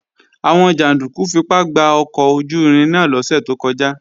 Àwọn jàndúkú fipá gba ọkọ̀ ojú-irin náà lọ́sẹ̀ tó kọjá